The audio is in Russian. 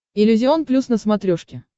иллюзион плюс на смотрешке